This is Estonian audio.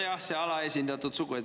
Nojah, see alaesindatud sugu.